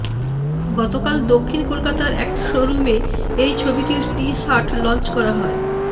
গতকাল দক্ষিণ কলকাতার একটি শো রুমে এই ছবিটির টি শার্ট লঞ্চ করা হয়